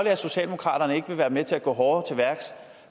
at socialdemokraterne ikke vil være med til at gå hårdere til værks